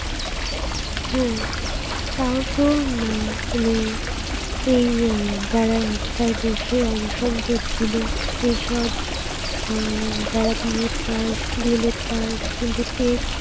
হ্যাঁ, তাও তো মা মানে এই আহ যারা রাস্তায় বসে অনশন করছিল এসব আহ যারা B. ed pass pass কিন্তু tet